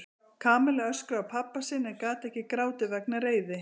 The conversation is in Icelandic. Kamilla öskraði á pabba sinn en gat ekki grátið vegna reiði.